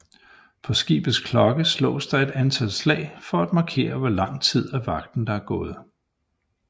På skibets klokke slås der et antal slag for at markere hvor lang tid af vagten der er gået